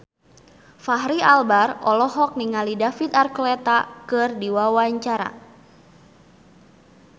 Fachri Albar olohok ningali David Archuletta keur diwawancara